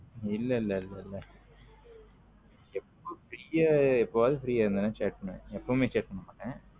இல்ல இல்ல இல்ல free யா எப்போவது free யா இருந்த chat பண்ணுவேன் எப்போமே chat பண்ண மாட்டேன்.